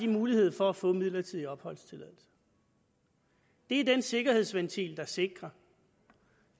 mulighed for at få midlertidig opholdstilladelse det er den sikkerhedsventil der sikrer